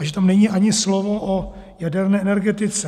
A že tam není ani slovo o jaderné energetice?